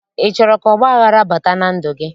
Ị chọrọ ka ọgbaghara bata na ndụ gị?